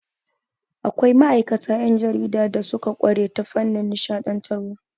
Akwai ma'aikata 'yan jarida da suka ƙware ta fannin nishaɗantarwa.